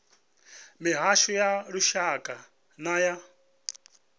mihasho ya lushaka na ya